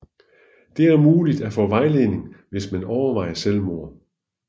Det er mulig at få vejledning hvis man overvejer selvmord